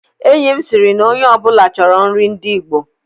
Enyi m sịrị na onye ọ bụla chọrọ nri ndị Igbo